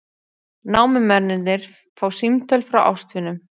Námumennirnir fá símtöl frá ástvinum